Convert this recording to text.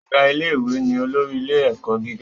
Ọ̀gá ilé ìwé ni olórí ilé ẹ̀kọ́ gíga